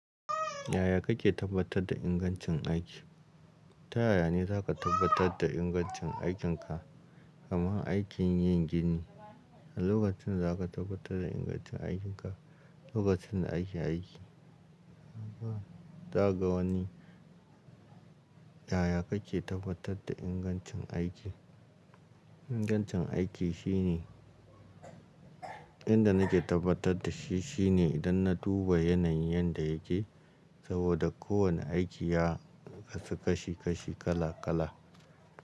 Yaya kake tabbatar da ingancin aiki? Ta yaya ne za ka tabbatar da ingancin aikinka, kamar aikin yin gini? A lokacin da za ka tabbatar da ingancin aikinka, lokacin da ake aiki. Ka ga wani yaya kake tabbatar da ingancin aiki? Ingancin aiki shine, inda nake tabbatar da shi shine idan na duba yanayin yadda yake, saboda kowane aiki ya kasu kashi kashi kala kala.